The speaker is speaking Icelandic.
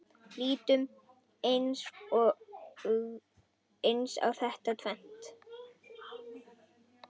Lítum aðeins á þetta tvennt.